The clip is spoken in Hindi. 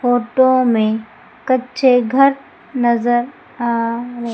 फोटो में कच्चे घर नजर आ र--